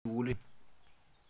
Eng' sukulit ni.